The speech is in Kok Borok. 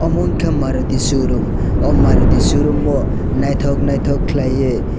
omo ungkha maruti showroom o maruti showroom o naithok naithok khwlaiui.